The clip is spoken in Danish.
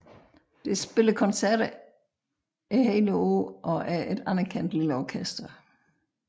Det spiller koncerter hele året og er et anerkendt lille orkester